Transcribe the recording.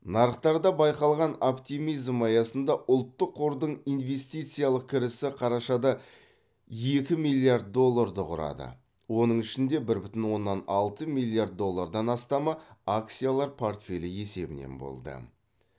нарықтарда байқалған оптимизм аясында ұлттық қордың инвестициялық кірісі қарашада екі миллиард долларды құрады оның ішінде бір бүтін оннан алты миллиард доллардан астамы акциялар портфелі есебінен болды